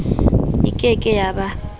e ke ke ya ba